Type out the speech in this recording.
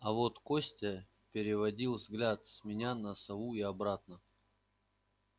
а вот костя переводил взгляд с меня на сову и обратно